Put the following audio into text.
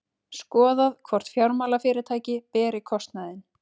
Skoðað hvort fjármálafyrirtæki beri kostnaðinn